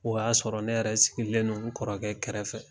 O y'a sɔrɔ ne yɛrɛ sigilen don n kɔrɔkɛ kɛrɛfɛ.